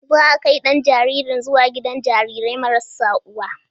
Za a kai ɗan jaririn zuwa gidan jariri marar uwa.